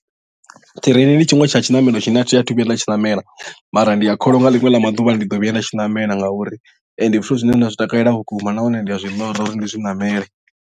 Ṱireini ndi tshiṅwe tsha tshiṋamelo tshine a thi athu vhuya nda tshi ṋamela mara ndi a kholwa nga ḽiṅwe ḽa maḓuvha ndi ḓo vhuya nda tshiṋamela ngauri ndi zwithu zwine nda zwi takalela vhukuma nahone ndi a zwi ḽora uri ndi zwi ṋamele.